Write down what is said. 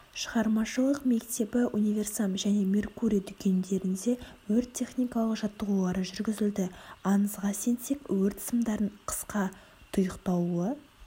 шығармашылық мектебі универсам және меркурий дүкендерінде өрт-техникалық жаттығулары жүргізілді аңызға сенсек өрт сымдардын қысқа тұйықталуы